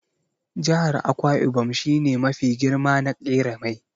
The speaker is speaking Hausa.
Jihar Akwa ibom shi ne mafi girma na ƙera mai.